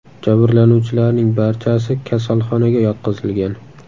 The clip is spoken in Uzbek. Jabrlanuvchilarning barchasi kasalxonaga yotqizilgan.